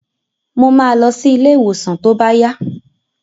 Mo ma lọ sí ilé ìwòsàn tó bá yá